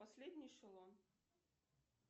последний эшелон